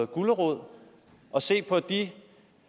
gulerod og se på de